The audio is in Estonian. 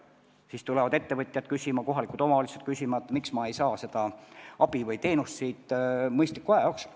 Siis tulevad ettevõtjad ja kohalikud omavalitsused küsima, miks nad ei saa seda abi või teenust mõistliku aja jooksul.